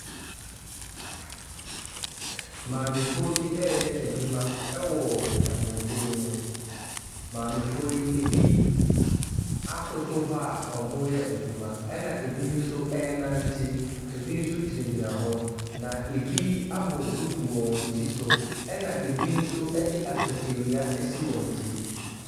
Maamefoɔ bi reyɛ adwuma wɔ ɛmofuo bi mu. Maamefoɔ yi, ebi akoto hɔ a wɔreyɛ adwuma, ɛnna bi nso renante, ebi nso gyinagyina hɔ, na ebi abɔ duku wɔ wɔn ti so, ɛnna bi nso de akatawia asi wɔn ti.